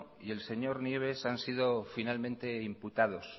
y el señor nieves han sido finalmente imputados